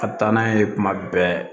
A bɛ taa n'a ye tuma bɛɛ